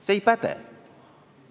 See ei päde!